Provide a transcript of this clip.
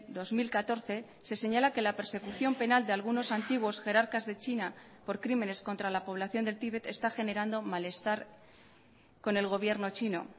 dos mil catorce se señala que la persecución penal de algunos antiguos jerarcas de china por crímenes contra la población del tibet está generando malestar con el gobierno chino